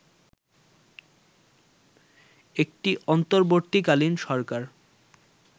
একটি অন্তর্বর্তীকালীন সরকার